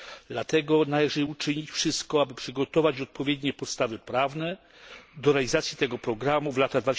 Dlatego należy uczynić wszystko, aby przygotować odpowiednie podstawy prawne do realizacji tego programu w latach